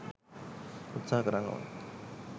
උත්සාහ කරන්න ඕන.